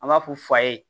An b'a fɔ fa ye